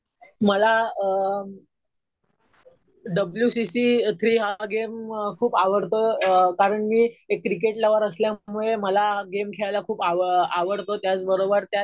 मला अ W C C three हा गेम खूप आवडतो. कारण मी एक क्रिकेट लवर असल्यामुळे मला हा गेम खेळायला खूप आवडतो. त्याच बरोबर त्यात